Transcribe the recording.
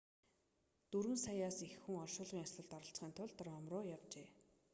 дөрвөн саяас их хүн оршуулгын ёслолд оролцохын тулд ром руу явжээ